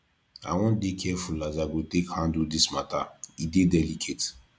i wan dey careful as i go take handle dis mata e dey delicate